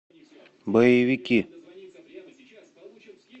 боевики